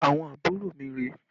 Àwọn àbúrò mi rèé